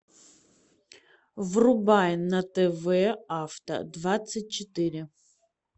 врубай на тв авто двадцать четыре